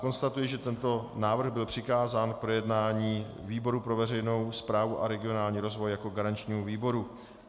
Konstatuji, že tento návrh byl přikázán k projednání výboru pro veřejnou správu a regionální rozvoj jako garančnímu výboru.